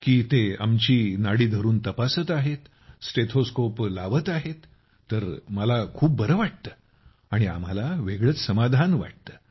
के ते आमची नाडी धरून तपासत आहेत स्टेथोस्कोप लावत आहेत तर मला खूप बरं वाटतं आणि आम्हाला वेगळंच समाधान वाटतं